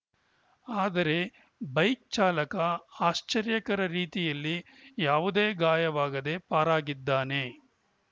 ಆದರೆ ಬೈಕ್‌ ಚಾಲಕ ಆಶ್ಚರ್ಯಕರ ರೀತಿಯಲ್ಲಿ ಯಾವದೇ ಗಾಯವಾಗದೇ ಪಾರಾಗಿದ್ದಾನೆ